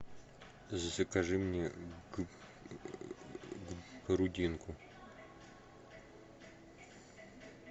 закажи мне грудинку